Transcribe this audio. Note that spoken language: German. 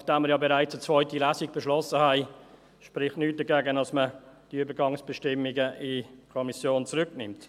Nachdem wir ja bereits eine zweite Lesung beschlossen haben, spricht nichts dagegen, dass man diese Übergangsbestimmungen in die Kommission zurücknimmt.